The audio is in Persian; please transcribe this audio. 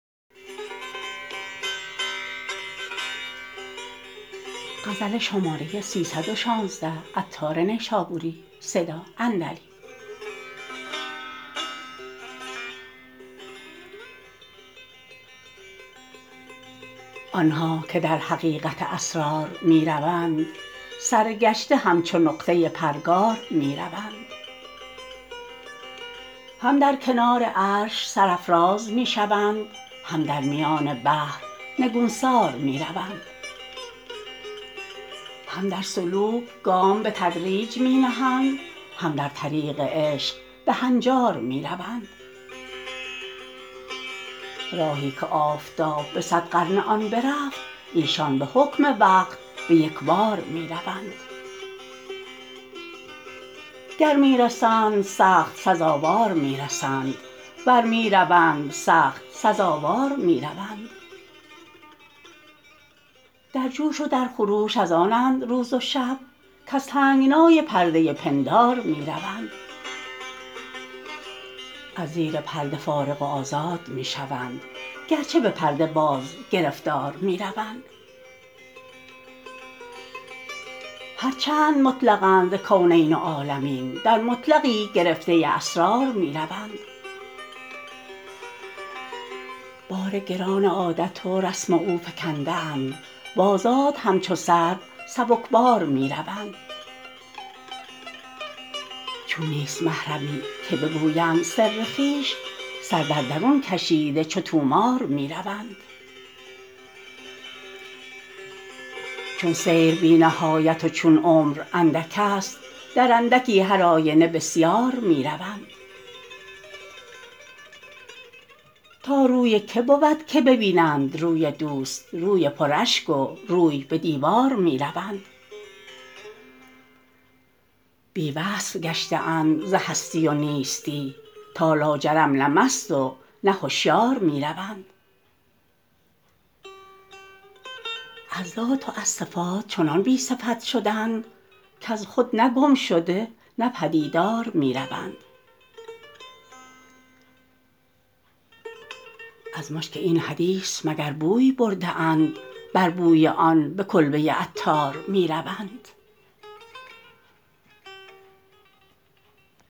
آنها که در حقیقت اسرار می روند سرگشته همچو نقطه پرگار می روند هم در کنار عرش سرافراز می شوند هم در میان بحر نگونسار می روند هم در سلوک گام به تدریج می نهند هم در طریق عشق به هنجار می روند راهی که آفتاب به صد قرن آن برفت ایشان به حکم وقت به یکبار می روند گر می رسند سخت سزاوار می رسند ور می روند سخت سزاوار می روند در جوش و در خروش از آنند روز و شب کز تنگنای پرده پندار می روند از زیر پرده فارغ و آزاد می شوند گرچه به پرده باز گرفتار می روند هرچند مطلقند ز کونین و عالمین در مطلقی گرفته اسرار می روند بار گران عادت و رسم اوفکنده اند وآزاد همچو سرو سبکبار می روند چون نیست محرمی که بگویند سر خویش سر در درون کشیده چو طومار می روند چون سیر بی نهایت و چون عمر اندک است در اندکی هر آینه بسیار می روند تا روی که بود که به بینند روی دوست روی پر اشک و روی به دیوار می روند بی وصف گشته اند ز هستی و نیستی تا لاجرم نه مست و نه هشیار می روند از ذات و از صفات چنان بی صفت شدند کز خود نه گم شده نه پدیدار می روند از مشک این حدیث مگر بوی برده اند بر بوی آن به کلبه عطار می روند